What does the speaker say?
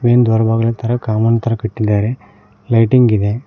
Main ದ್ವಾರಬಾಗ್ಲು ತರ ಕಾಮನ್ ತರ ಕಟ್ಟಿದ್ದಾರೆ ಲೈಟಿಂಗ್ ಇದೆ.